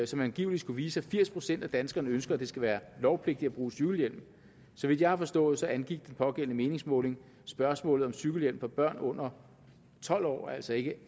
som angiveligt skulle vise at firs procent af danskerne ønsker at det skal være lovpligtigt at bruge cykelhjelm så vidt jeg har forstået angik den pågældende meningsmåling spørgsmålet om cykelhjelm for børn under tolv år altså ikke